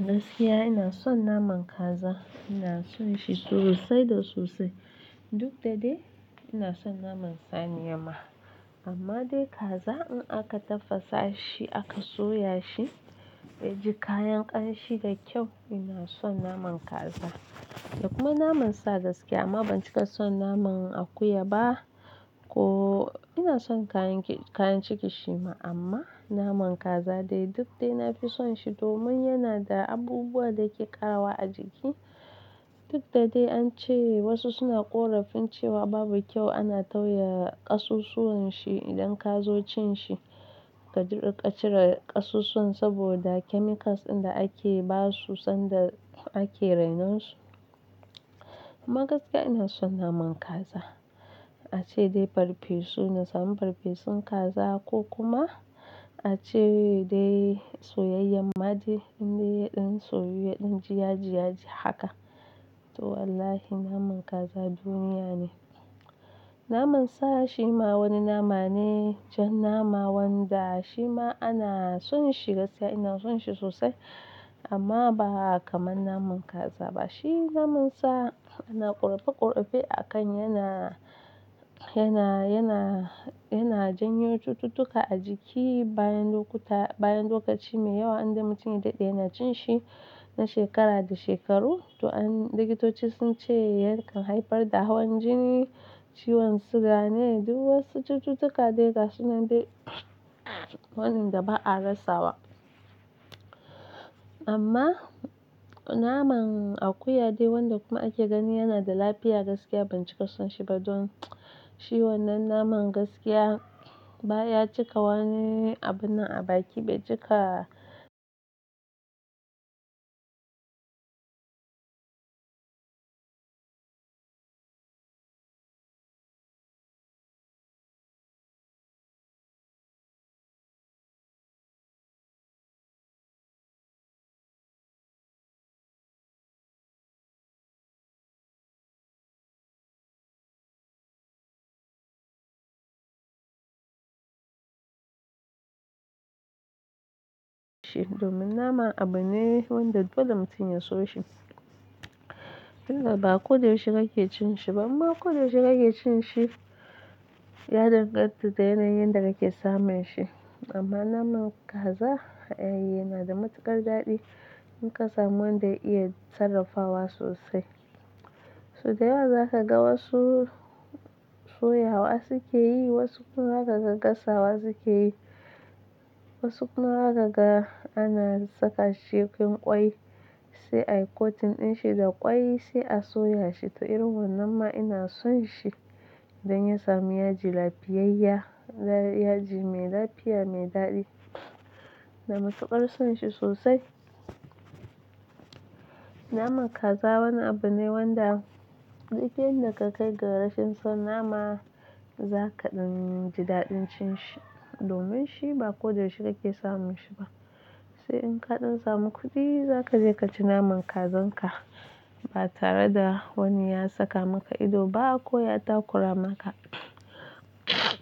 Gaskiya ina son naman kaza, ina son shi sosai da sosai. Duk da dai ina son naman saniya ma amma dai kaza in aka tafasa shi aka soya shi ya ji kayan ƙanshi da kyau. Ina son naman kaza da kuma naman sa gaskiya amma ban cika son naman akuya ba ko ina son kayan ciki shi ma amma naman kaza dai duk dai na fi son shi domin yana da abubuwa da ke ƙarawa a jiki. Duk da dai an ce wasu suna ƙorafin cewa babu kyau ana tauya ƙasusuwan shi idan ka zo cin shi ka jiƙa ka cire ƙasusuwan saboda chemicals din da ake ba su sanda ake rainon su. Amma gaskiya ina son naman kaza. A ce dai farfesu na samu farfesun kaza ko kuma a ce dai soyayyan ma ɗai inda yaɗan soyu yaɗan ji yaji yaji haka. To wallahi naman kaza duniya ne. Naman sa shi ma wani nama ne jan nama wanda shi ma ana son shi gaskiya ina son shi sosai amma ba kamar naman kaza ba. Shi naman sa ana ƙurofai kurofai a kan yana, yana, yana, yana janyo cututtuka a jiki bayan lokuta bayan lokaci mai yawa inda mutum ya daɗe yana cin shi na shekara da shekaru. To an, likitoci sun ce yankan haifar da hawan jini, ciwon siga ne duk wasu cututtuka dai gasu nan dai waɗanda ba a rasa wa. Amma naman akuya dai wanda kuma ake gani yana da lafiya gaskiya ban cika son shi ba don shi wannan naman gaskiya baya cika wani abun da a baki bai cika. Shi domin naman abu ne wanda dole mutum ya so shi. Inda ba ko da yaushe kake cin shi ba amma ko da yaushe kake cin shi ya danganta da yanayin da kake samun shi. Amma naman kaza, ayy, yana da matuƙar daɗi in ka samu wanda iya sarrafawa sosai. So da yawa za ka ga wasu soyawa suke yi, wasu kuma za ka ga gasawa suke yi, wasu kuma za ka ga ana saka shi cikin ƙwai sai a yi kotun din shi da ƙwai sai a soya shi. To irin wannan ma ina son shi idan ya sami yaji lafiyayya, yaji mai lafiya mai daɗi. Da matuƙar son shi sosai. Naman kaza wani abu ne wanda duk inda ka kai garashin son nama za ka ɗan ji daɗin cin shi domin shi ba ko da yaushe kake samun shi ba. Sai in ka ɗan samu kuɗi za ka je ka ci naman kazan ka ba tare da wani ya saka maka ido ba ko ya takura maka.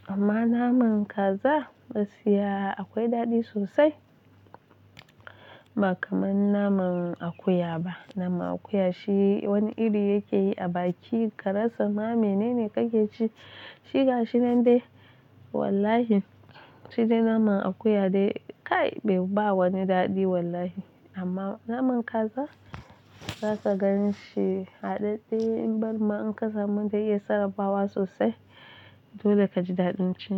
Amma naman kaza gaskiya akwai daɗi sosai ba kamar naman akuya ba. Naman akuya shi wani iri yake yi a baki ka rasa ma menene kake ci. Shiga shi nan dai wallahi shide naman akuya dai kai bai wani daɗi wallahi. Amma naman kaza za ka gan shi haɗaɗɗe in bari ma in ka samu dai iya sarrafawa sosai dole ka ji daɗin cin shi.